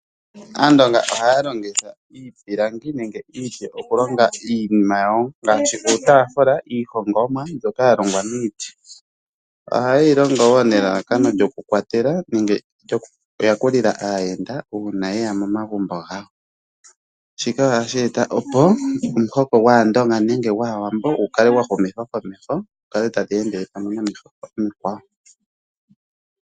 Aandonga ohaya longitha iipilangi nenge iiti okulonga iinima yawo ngaashi uutafula iihongomwa ndyoka yalongwa miiti. Ohayeyi longo nelalakano lyokukwatela nenge lyokuyakulila uuna aayenda yeya momagumbo gawo shika ohashi eta opo omuhoko gwaawambo gukale gwahumithwa komeho gukale tagu endele pamwe nomihoko omikwa wo.